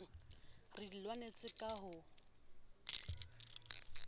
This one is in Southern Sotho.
re di lwanetseng ka ho